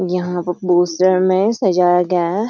यहाँ पोस्टर में सजाया गया है।